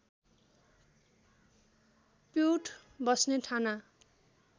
पिउठ बस्ने ठाना